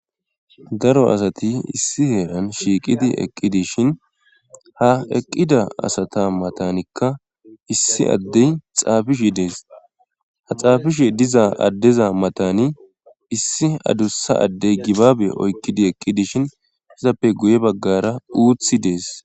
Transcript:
Daro asati issi heeran shiiqidi eqqi dishin ha eqqida asata matanikka issi addey xaafishi dees ha xaafishe diza addeza matani issi adussa addey gibaabe oykkidi eqqi dishin izappe guye baggara uuthi dees.